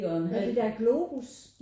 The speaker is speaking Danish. Når det der Globus?